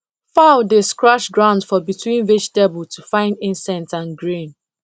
fowl dey scratch ground for between vegetable to find insect and grain